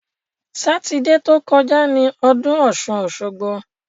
Sátidé ti ó kọjá ni ọdún ọ̀ṣun-òṣogbo.